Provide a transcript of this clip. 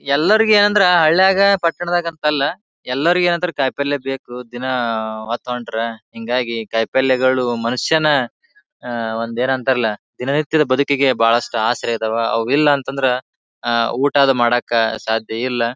ಎಲ್ಲರಿಗ ಅಂದ್ರ ಹಳ್ಯಾಗ ಪಟ್ಟಣದಾಗ ಅಂತ ಅಲ್ಲ ಎಲ್ಲರಿಗೆ ಅಂದ್ರ ಕಾಯಿಪಲ್ಲೆ ಬೇಕು ದಿನ ಹೊತ್ತೊಂಟಾರ. ಹಿಂಗಾಗಿ ಕಾಯಿಪಲ್ಲೆಗಳು ಮನುಷ್ಯನ ಆ ಒಂದೇನಂತರಲ್ಲ ದಿನನಿತ್ಯದ ಬದುಕಿಗೆ ಬಹಳಷ್ಟ ಆಸರೆ ಅದಾವ. ಅವ್ ಇಲ್ಲಾಂತಂದ್ರ ಆ ಊಟ ಅದು ಮಾಡಾಕ ಸಾಧ್ಯ ಇಲ್ಲ.